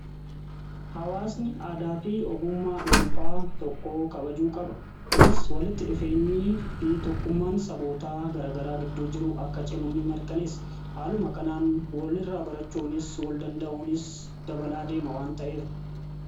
Hawaasni aadaa fi ogummaa dhuunfaa tokkoo kabajuu qaba. Kunis walitti dhufeenyii fi tokkummaan sabootaa garagaraa gidduu jiru akka cimu ni mirkaneessa. Haaluma kanaan walirraa barachuunis wal danda'uuni dabalaa deema waan ta'eef.